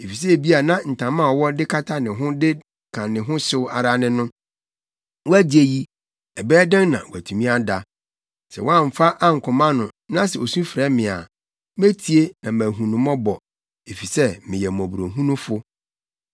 Efisɛ ebia na ntama a ɔwɔ de kata ne ho de ka ne ho hyew ara ne no; woagye yi, ɛbɛyɛ dɛn na watumi ada? Sɛ woamfa ankɔma no na sɛ osu frɛ me a, metie na mahu no mmɔbɔ, efisɛ meyɛ mmɔborɔhunufo.